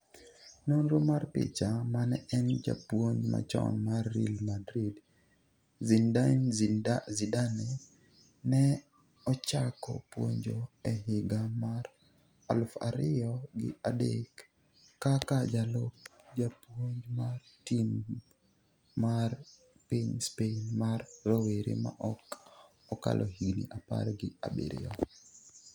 nonro mar picha. Mane en japuonj machon mar Real Madrid Zinedine Zidane ne ochako puonjo e higa mar aluf ariyo gi adek kaka jalup japuonj mar timb mar piny Spain mar rowera ma ok okalo higni apar gi abiriyo